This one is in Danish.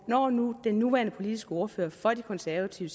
når nu den nuværende politiske ordfører for det konservative